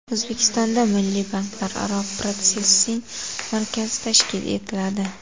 O‘zbekistonda Milliy banklararo protsessing markazi tashkil etiladi.